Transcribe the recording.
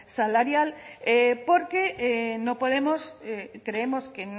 salarial porque creemos